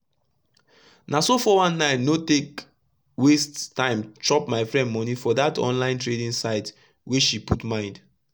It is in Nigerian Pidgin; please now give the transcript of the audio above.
no so 419 no take waste tym chop my friend moni for dat online trading site wey she put mind